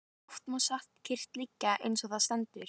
Oft má satt kyrrt liggja eins og þar stendur.